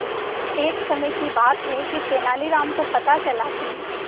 एक समय की बात है कि तेनालीराम को पता चला कि